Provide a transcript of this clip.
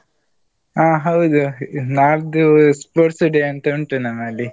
ಹಾ ಹೌದು. ನಾಡ್ದು sports day ಅಂತ ಉಂಟು ನಮ್ಮಲ್ಲಿ.